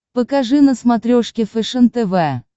покажи на смотрешке фэшен тв